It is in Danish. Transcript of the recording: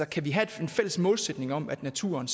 kan vi have en fælles målsætning om at naturen